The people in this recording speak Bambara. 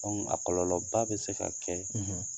a kɔlɔlɔba bi se ka kɛ